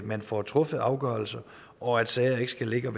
man får truffet afgørelser og at sager ikke skal ligge og